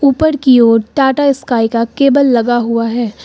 ऊपर की ओर टाटा स्काई का केबल लगा हुआ है।